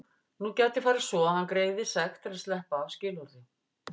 Nú gæti farið svo að hann greiði sekt til að sleppa af skilorði.